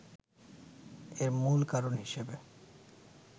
এর মূল কারণ হিসেবে